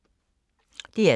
DR2